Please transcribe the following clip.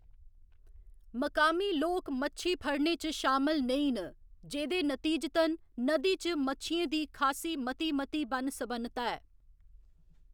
मकामी लोक मच्छी फड़ने च शामल नेईं न, जेह्‌दे नतीजतन नदी च मच्छियें दी खासी मती मती बन्न सबन्नता ऐ।